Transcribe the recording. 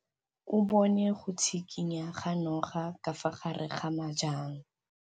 O bone go tshikinya ga noga ka fa gare ga majang.